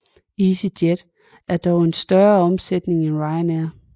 EasyJet har dog en større omsætning end Ryanair